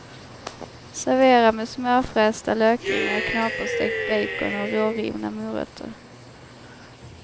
Servera med smörfrästa lökringar, knaperstekt bacon och rårivna morötter.